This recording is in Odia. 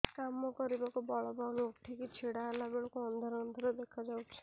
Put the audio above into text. କାମ କରିବାକୁ ବଳ ପାଉନି ଉଠିକି ଛିଡା ହେଲା ବେଳକୁ ଅନ୍ଧାର ଅନ୍ଧାର ଦେଖା ଯାଉଛି